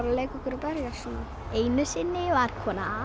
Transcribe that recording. að leika okkur að berjast einu sinni var koma